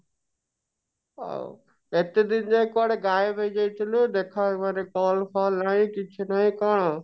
ହଉ ଏତେ ଦିନ ଯାଏଁ କୁଆଡେ ଗାଏବ ହେଇଯାଇଥିଲୁ ଦେଖା ମାନେ call ଫଲ ନାଇଁ କିଛି ନାଇଁ କଣ